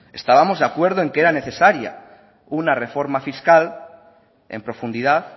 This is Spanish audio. estábamos de acuerdo en que era necesaria una reforma fiscal en profundidad